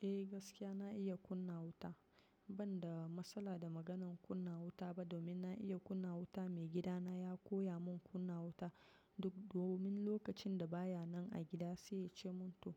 Eh gaskiya na iya kunna wuta, ban da matsala da maganan kunna wuta ba domin na iya kunna wuta. Maigida na ya koya mun kunna wuta duk domin lokacin da baya nan a gida sai ya ce mun to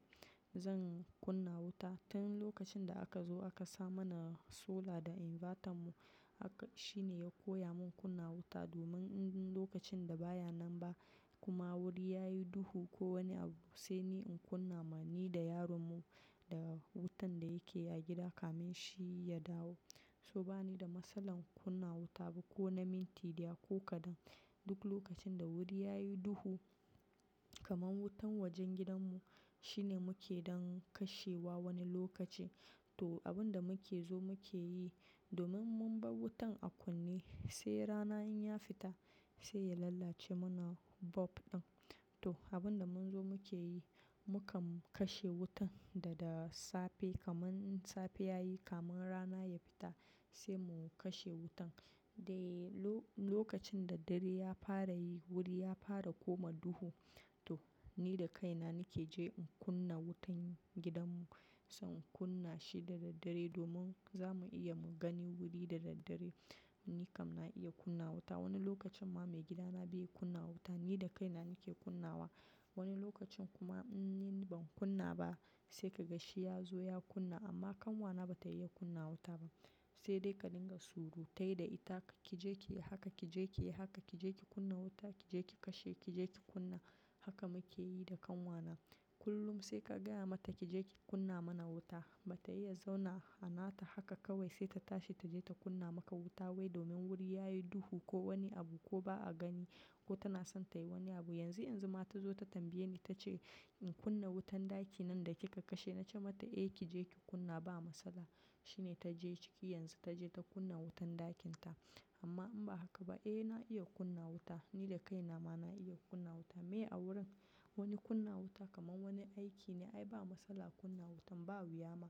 zan kunna wuta. Tin lokacin da aka zo aka sa mana solar da inverter mu haka shine ya koya mun kunna wuta domin lokacin da baya nan ba kuma wuri yayi duhu ko wani abu sai ni in kunna. Ma ni da yarona mu da wutan da yake a gida kamin shi ya dawo. So bani da masalan kunna wuta ba ko na minti daya ko kadan. Duk lokacin da wuri yayi duhu kaman wutan wajen gidan mu shine muke dan kashewa wani lokaci. To abun da muke zo muke yi domin mun bar wutan a kunne sai rana in ya fita sai ya lalace mana bulb ɗin. To abun da mun zo muke yi, mukan kashe wutan dada safe kaman safe yayi kamun rana ya fita sai mu kashe wutan. Dai lokacin da dare ya fara yi wuri ya fara koma duhu to ni da kaina nake je in kunna wutan gidan mu. Sai in kunna shi da daddare domin zamu iya mu gani wuri da daddare. Ni kam na iya kunna wuta. Wani lokacin ma maigida na bey kunna wuta ni da kaina nake kunnawa. Wani lokacin kuma in ni ban kunna ba sai ka gashi ya zo ya kunna amma kanwa na bata iya kunna wuta ba. Sai dai ka dinga surutai da ita kije ki yi haka, kije ki yi haka, kije ki kunna wuta, kije ki kashe, kije ki kunna haka muke yi da ƙanwa na. Kullum sai ka gaya mata kije ki kunna mana wuta bata iya zauna anata haka kawai sai ta tashi ta je ta kunna maka wuta wai domin wuri yayi duhu ko wani abu ko ba a gani ko tana son tayi wani abu. Yanzu yanzu ma ta zo ta tambaye ni ta ce in kunna wutan ɗakin nan da kika kashe. Na ce mata eh kije ki kunna ba matsala. Shine ta je ciki yanzu ta je ta kunna wutan ɗakin ta amma in ba haka ba eh na iya kunna wuta. Ni da kaina ma na iya kunna wuta. Me a wurin wani kunna wuta kaman wani aiki ne ai ba matsala kunna wutan ba wuya ma.